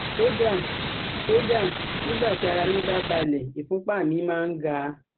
Kódà Kódà nígbà tí ara mí bá balẹ̀, ìfúnpá mi máa ń ga